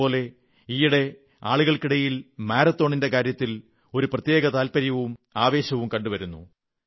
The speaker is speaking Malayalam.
അതേപോലെ ഈയിടെ ആളുകൾക്കിടയിൽ മാരത്തോണിന്റെ കാര്യത്തിൽ ഒരു പ്രത്യേക താത്പര്യവും ആവേശവും കണ്ടുവരുന്നു